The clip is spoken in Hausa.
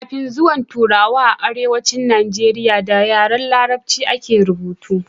kafin zuwan turawa a arewacin najeriya da yaren larabci a ke rubutu